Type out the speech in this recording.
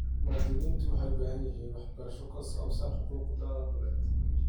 Muwaadiniintu waxay u baahan yihiin waxbarasho ku saabsan xuquuqdooda dhuleed.